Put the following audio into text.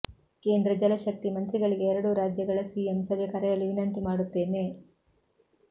ಕೇಂದ್ರ ಜಲಶಕ್ತಿ ಮಂತ್ರಿಗಳಿಗೆ ಎರಡೂ ರಾಜ್ಯಗಳ ಸಿಎಂ ಸಭೆ ಕರೆಯಲು ವಿನಂತಿ ಮಾಡುತ್ತೇನೆ